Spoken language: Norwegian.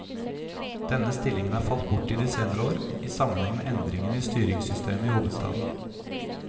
Denne stillingen har falt bort i de senere år, i sammenheng med endringene i styringssystemet i hovedstaden.